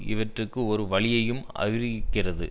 இவற்றுக்கு ஒரு வழியையும் அறிவிக்கிறது